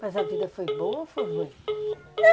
Mas a vida foi boa ou foi ruim?